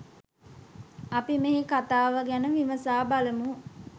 අපි මෙහි කතාව ගැන විමසා බලමු.